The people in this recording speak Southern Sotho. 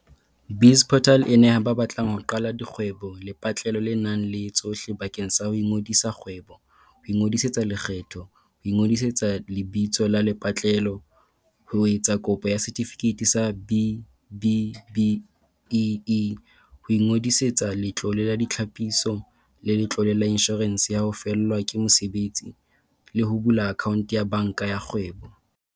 BizPortal e neha ba batlang ho qala dikgwebo lepatlelo le nang le tsohle bakeng sa ho ngodisa kgwebo, ho ingodisetsa lekgetho, ho ngodisa lebitso la lepatlelo, ho etsa kopo ya setifikeiti sa B-BBEE, ho ingodisetsa Letlole la Ditlhapiso le Letlole la Inshorense ya ho Fellwa ke Mosebetsi, le ho bula akhaonto ya banka ya kgwebo.